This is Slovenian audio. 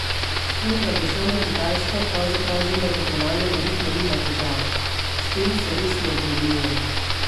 S tem, da bo šel na Kitajsko pravzaprav zunaj tekmovalnega ritma, nima težav: "S tem se res ne obremenjujem.